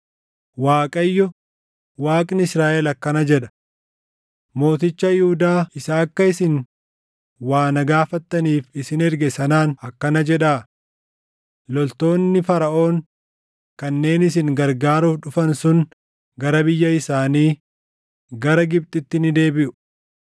“ Waaqayyo, Waaqni Israaʼel akkana jedha: Mooticha Yihuudaa isa akka isin waa na gaafattaniif isin erge sanaan akkana jedhaa; ‘Loltoonni Faraʼoon kanneen isin gargaaruuf dhufan sun gara biyya isaanii, gara Gibxitti ni deebiʼu.